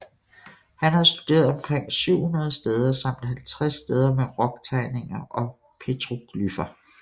Han har studeret omkring 700 steder samt 50 steder med rock tegninger og petroglyffer